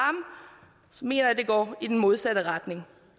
mener jeg det går i den modsatte retning